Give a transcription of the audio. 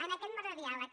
en aquest marc de diàleg